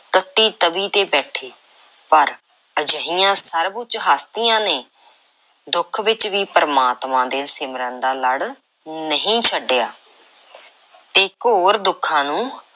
ਤੱਤੀ ਤਵੀ ਤੇ ਬੈਠੇ, ਪਰ ਅਜਿਹੀਆਂ ਸਰਬ–ਉੱਚ ਹਸਤੀਆਂ ਨੇ ਦੁੱਖ ਵਿੱਚ ਵੀ ਪ੍ਰਮਾਤਮਾ ਦੇ ਸਿਮਰਨ ਦਾ ਲੜ ਨਹੀਂ ਛੱਡਿਆ ਤੇ ਘੋਰ ਦੁੱਖਾਂ ਨੂੰ